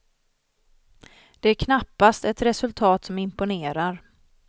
Det är knappast ett resultat som imponerar.